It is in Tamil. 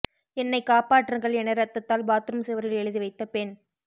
என்னை காப்பாற்றுங்கள் என ரத்தத்தால் பாத்ரூம் சுவரில் எழுதி வைத்த பெண்